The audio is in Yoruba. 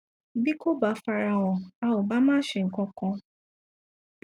bí kò bá farahàn a ò bá má ṣe nǹkankan